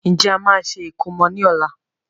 Ǹjẹ́ a máa ṣe ìkómọ ni ọ̀la?